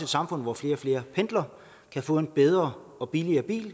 samfund hvor flere og flere pendler kan få en bedre og billigere bil